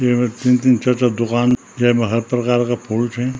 येमा तीन-तीन चार-चार दूकान जेमा हर प्रकार का फूल छी।